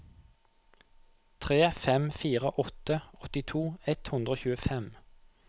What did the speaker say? tre fem fire åtte åttito ett hundre og tjuefem